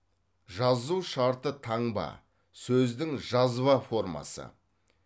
жазу шарты таңба сөздің жазба формасы